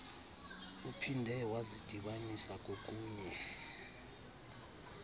uphinde wazidibanisa kokunye